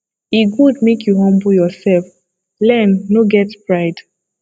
e good make you humble yourself learn no get pride